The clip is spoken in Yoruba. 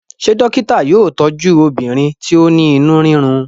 ṣe dókítà yóò tọju obìnrin ti o ní inú rirun?